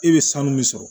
E be sanu min sɔrɔ